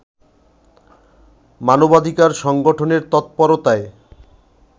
মানবাধিকার সংগঠনের তৎপরতায়